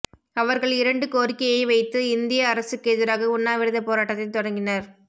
அவர்கள் இரண்டு கோரிக்கையை வைத்து இந்திய அரசுக்கெதிராக உண்ணாவிரதப் போராட்டத்தைத் தொடங்கினர்